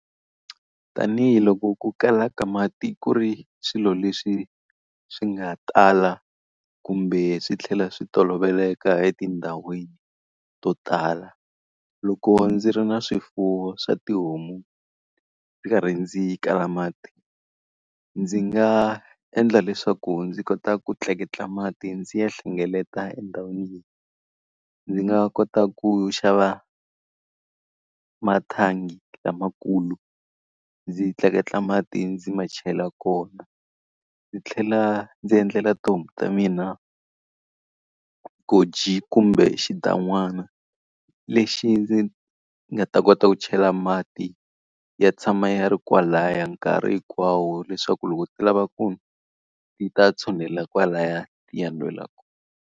Tanihi loko ku kala ka mati ku ri swilo leswi swi nga tala kumbe swi tlhela swi toloveleka etindhawini to tala. Loko ndzi ri na swifuwo swa tihomu ndzi karhi ndzi kala mati, ndzi nga endla leswaku ndzi kota ku tleketla mati ndzi ya hlengeleta endhawini. Ndzi nga kota ku xava mathangi lamakulu, ndzi tleketla mati, ndzi ma chela kona. Ndzi tlhela ndzi endlela tihomu ta mina goji kumbe xigidan'wana lexi ndzi nga ta kota ku chela mati ya tshama ya ri kwalaya nkarhi hinkwawo leswaku loko ti lava ku nwa ti ta tshunelela kwalaya ti ya nwela kona.